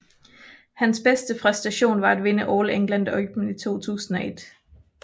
Hans bedste præstation var at vinde All England Open i 2021